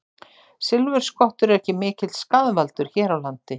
Silfurskottur eru ekki mikill skaðvaldur hér á landi.